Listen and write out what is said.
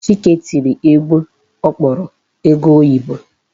Chike tiri egwu ọ kpọrọ ego oyibo.